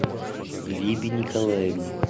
глебе николаевне